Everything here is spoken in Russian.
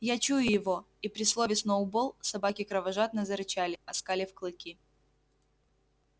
я чую его и при слове сноуболл собаки кровожадно зарычали оскалив клыки